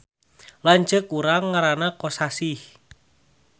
Lanceuk urang ngaranna Kosasih